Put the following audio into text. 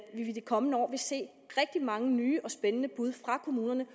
i de kommende år vil se rigtig mange nye og spændende bud fra kommunerne